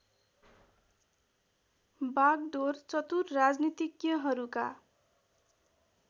बागडोर चतुर राजनीतिज्ञहरूका